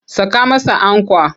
Saka masa ankwa!